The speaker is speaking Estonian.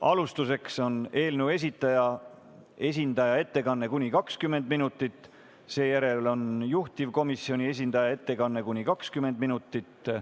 Alustuseks on eelnõu esindaja ettekanne kuni 20 minutit, seejärel on juhtivkomisjoni esindaja ettekanne kuni 20 minutit.